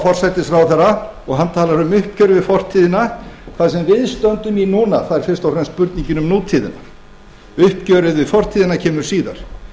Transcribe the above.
forsætisráðherra og hann talar um uppgjör við fortíðina það sem við stöndum í núna er fyrst og fremst spurningin um nútíðina uppgjörið við fortíðina kemur síðar